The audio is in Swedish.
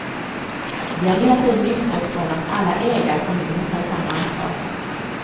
Vi har hela tiden utgått från att alla ägarkommuner tar samma ansvar.